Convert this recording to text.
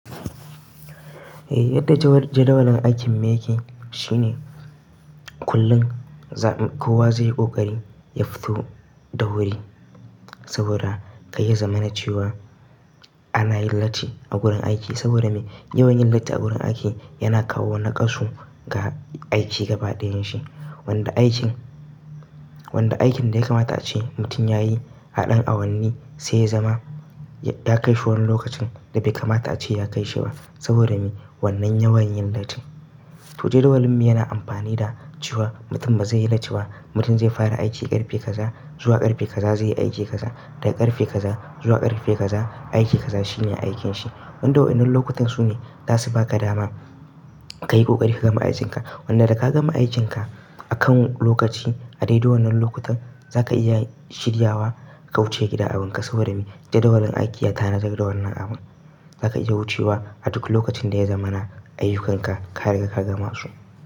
Yadda jadawalin aikin mu yake shine kullum kowa zai yi ƙoƙari ya fito da wuri, saboda kai ya zama na ciwa ana yin latti a gurin aiki. Saboda me? Yawan yin latti a gurin aiki yana kawo nakasu ga aiki gaba ɗayan shi. Wanda aikin, wanda aikin da ya kamata ace mutum ya yi haɗin awanni sai ya zama ya kai shi wani lokacin da bai kamata ace ya kai shi ba saboda me wannan yawan yin latti. To jadawalin mu yana amfani da cewa mutum bazai yi latti ba, mutum zai fara aiki ƙarfe kaza zuwa ƙarfe kaza zai yi aiki kaza, daga ƙarfe kaza zuwa ƙarfe kaza aiki kaza shine aikin shi. Wannan dau'in nan lokutan sune zasu baka dama ka yi ƙoƙari ka gama aikin ka. Wanda da ka gama aikin ka akan lokaci a dai dau'in nan lokutan za ka iya shirya wa ka wuce gida awanka saboda me jadawalin aiki yana zagawa wannan abu. Za ka iya wucewa a duk lokacin da ya zama na ayyukanka ka riƙa ka gama su.